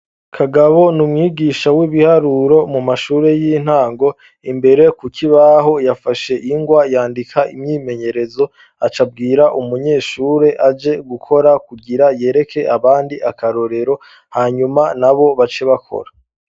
Kagabo ni umwigisha w'ibiharuro mu mashuri y'intango imbere ku kibaho yafashe ingwa yandika imyimenyerezo acabwira umunyeshuri aje gukora kugira yereke abandi akarorero hanyuma na bo bace bakora.